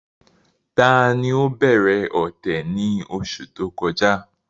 Tani ó bẹ̀rẹ̀ ọ̀tẹ̀ ni oṣù tó kọjá?